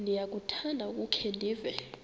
ndiyakuthanda ukukhe ndive